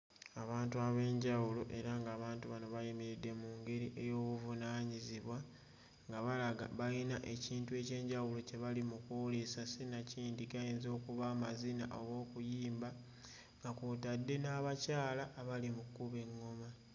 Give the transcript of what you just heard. Abantu ab'enjawulo era ng'abantu bano bayimiridde mu ngeri ey'obuvunaanyizibwa nga balaga bayina ekintu eky'enjawulo kye bali mu kwolesa, sinakindi gayinza okuba amazina oba okuyimba nga kw'otadde n'abakyala abali mu kkuba eŋŋoma.